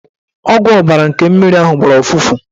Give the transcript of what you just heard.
Ọgwụ ọbara nke mmiri ahụ gbara ụfụfụ.